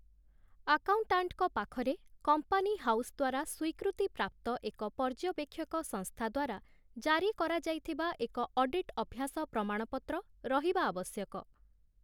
ଆକାଉଣ୍ଟାଣ୍ଟଙ୍କ ପାଖରେ company house ଦ୍ୱାରା ସ୍ୱୀକୃତିପ୍ରାପ୍ତ ଏକ ପର୍ଯ୍ୟବେକ୍ଷକ ସଂସ୍ଥା ଦ୍ୱାରା ଜାରି କରାଯାଇଥିବା ଏକ ଅଡିଟ୍-ଅଭ୍ୟାସ ପ୍ରମାଣପତ୍ର ରହିବା ଆବଶ୍ୟକ ।